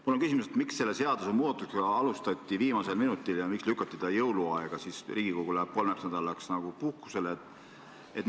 Mul on küsimus: miks selle seaduse muutmist alustati viimasel minutil ja miks lükati see jõuluaega, kui Riigikogu läheb kolmeks nädalaks puhkusele?